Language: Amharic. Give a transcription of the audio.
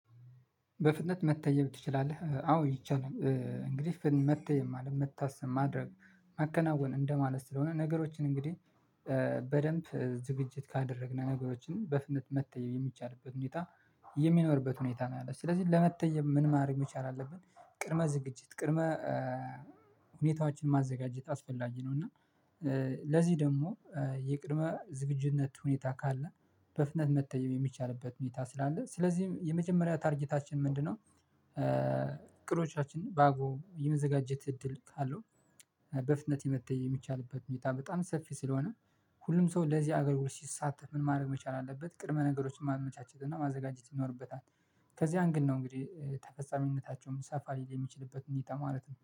በፍጥነት መተየብ ትችላለህ አዎ ይቻላል እንግዲህ መተየም ማለት መታሰም ማድረግ መከናወን እንደማለት ስለሆነ ነገሮችን እንግዲህ በደንብ ዝግጅት ካደረግነው ነገሮችን በፍጥነት መተየበሰ የሚቻልበት ሁኔታ የሚኖርበት ሁኔታ ነው። ያለው ስለዚህ ለመተየብ ምን ማረግ መቻል አለብን? ቅድመ ዝግጅት፤ ቅድመ ሁኔታዎችን፤ ማዘጋጀት አስፈላጊ ነው። እና ለዚህ ደግሞ የቅድመ ዝግጁነት ሁኔታ ካለ በፍጥነት መተየብ የሚቻልበት ሁኔታ ስላለ። ስለዚህም የመጀመሪያ ታርጌታችን ምንድነው? እቅዶቻችንን ባግባቡ የመዘጋጀት እድል ካለው። በፍጥነት የመተየብ የሚቻልበት ሁኔታ በጣም ሰፊ ስለሆነ ሁሉም ሰው ለዚህ አገልግሎት ሲሳተፍ ምን ማድረግ መቻል አለበት? ቅድመ ነገሮችን ማመቻቸት እና ማዘጋጀት ይኖርበታል። ከዚያም ግን ነው እንግዲህ ተፈጻሚነታቸውም ሰፋ ሊል የሚችልበት እንዲህ ተማረት ነው።